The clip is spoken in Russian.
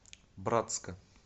братска